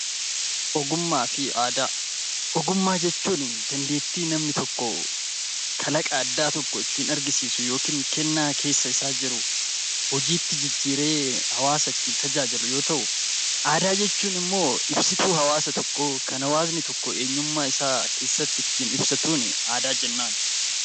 Ogummaa jechuuni dandeettii namni tokko, kalaqa addaa tokko ittiin argisiisu yookiin kennaa keessa isaa jiru hojiitti jijjiiree hawaasa ittiin tajaajilu yoo ta'u, aadaa jechuun immoo ibsituu hawaasa tokkoo kan hawaasni tokko eenyummaa isaa keessatti ittiin ibsatuuni aadaa jennaan.